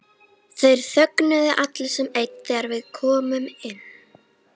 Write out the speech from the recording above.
Þeir þögnuðu allir sem einn þegar við komum inn.